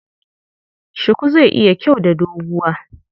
Shuku zai yi kyau da doguwa.